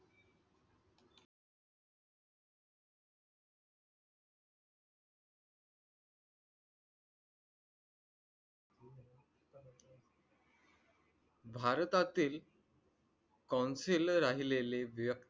भारतातील council राहिलेले